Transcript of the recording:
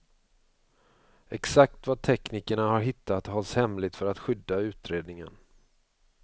Exakt vad teknikerna har hittat hålls hemligt för att skydda utredningen.